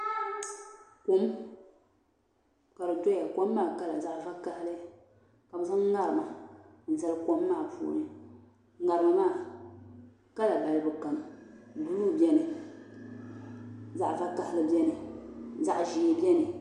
Kom kadi doya kom maa kala zaɣi va kahili. kabɛ zaŋ ŋariŋ n zali kom maa puuni ŋariŋ maa kala balibu kam zaɣi vakahili be ni blue beni zaɣ' ʒɛɛbeni ka zaɣi piɛli gbabeni.